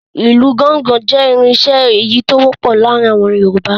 Ìlú gọ́ngọn jẹ́ irinṣẹ́ orin tó wọ́pọ̀ láàárin àwọn Yorùbá.